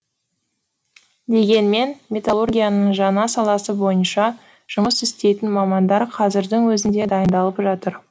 дегенмен металлургияның жаңа саласы бойынша жұмыс істейтін мамандар қазірдің өзінде дайындалып жатыр